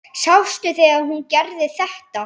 Sástu þegar hún gerði þetta?